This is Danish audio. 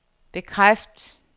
bekræft